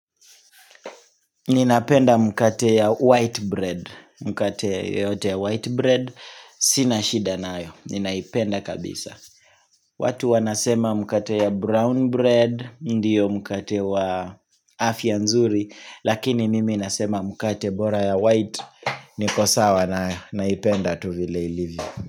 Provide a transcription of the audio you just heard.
Ninapenda mkate ya white bread, mkate yote ya white bread, sinashida nayo, ninaipenda kabisa. Watu wanasema mkate ya brown bread, ndiyo mkate wa afya nzuri, lakini mimi nasema mkate bora ya white, nikosawa na naipenda tuvile ilivyo.